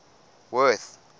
worth